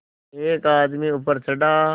एक आदमी ऊपर चढ़ा